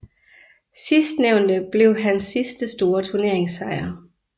Sidstnævnte blev hans sidste store turneringssejr